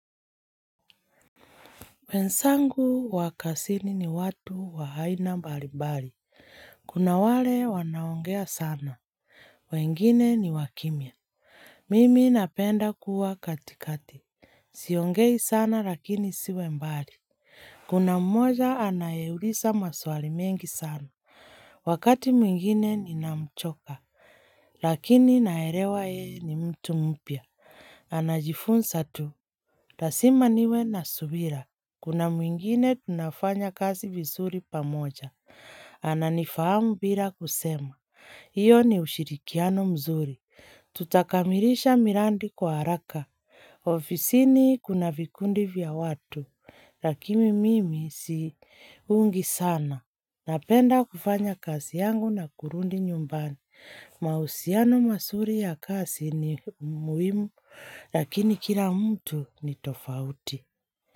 Wenzangu wakazini ni watu waaina mbalibali. Kuna wale wanaongea sana. Wengine ni wakimia. Mimi napenda kuwa katikati. Siongei sana lakini siwe mbali. Kuna mmoja anayeuliza maswali mengi sana. Wakati mwingine ni namchoka. Lakini naelewa yeye ni mtu mpya. Anajifunza tu. Lazima niwe na subira. Kuna mwingine tunafanya kazi vizuri pamoja. Ana nifahamu bila kusema. Iyo ni ushirikiano mzuri. Tutakamirisha mirandi kwa haraka. Ofisini kuna vikundi vya watu. Lakini mimi si ungi sana. Napenda kufanya kasi yangu na kurundi nyumbani. Mahusiano mazuri ya kazi ni muhimu. Lakini kila mtu ni tofauti.